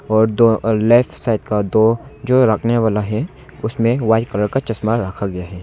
और दो left side का दो जो रखने वाला है उसमे वाइट कलर का चश्मा रखा गया है।